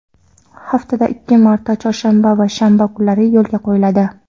haftada ikki marta – chorshanba va shanba kunlari yo‘lga qo‘yiladi:.